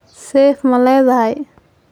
seef ma leedahay?